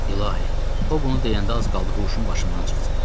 İlahi, o bunu deyəndə az qaldı huşum başımdan çıxsın.